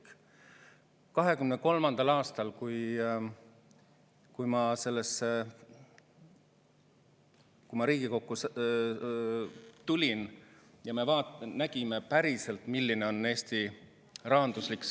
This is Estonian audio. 2023. aastal, kui ma Riigikokku tulin, ma nägin päriselt, milline on Eesti rahanduslik seis.